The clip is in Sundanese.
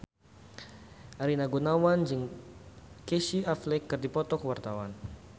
Rina Gunawan jeung Casey Affleck keur dipoto ku wartawan